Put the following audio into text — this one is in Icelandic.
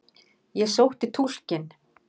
Ég sótti túlkinn.